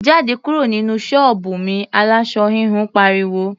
"Jáde kúrò nínú ṣọ́ọ̀bù mi!", aláṣọ híhun pariwo.